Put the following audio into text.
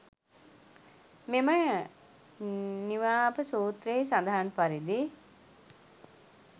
මෙම නිවාප සූත්‍රයෙහි සඳහන් පරිදි